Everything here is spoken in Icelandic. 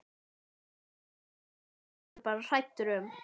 Nú var hann ekki lengur bara hræddur um